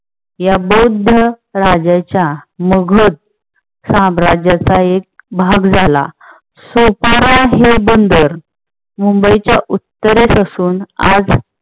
या बौद्ध राजाच्या मगध साम्राज्याचा एक भाग झाला. सोपारा हे बंदर मुंबई च्या उत्तरेत असून आज